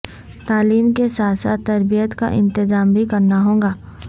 تعلیم کے ساتھ ساتھ تربیت کا انتظام بھی کرنا ہوگا